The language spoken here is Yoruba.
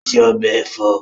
Ó se ọbẹ̀ ẹ̀fọ́